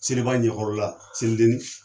Seliba ɲɛkɔyɔrɔ selideni